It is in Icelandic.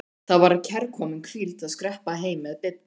Það var kærkomin hvíld að skreppa heim með Bibba.